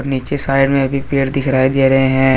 नीचे साइड मे भी पेड दिखराई दे रहे है।